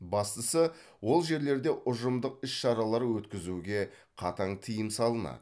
бастысы ол жерлерде ұжымдық іс шаралар өткізуге қатаң тыйым салынады